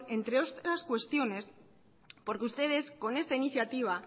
entre otras cuestiones porque ustedes con esta iniciativa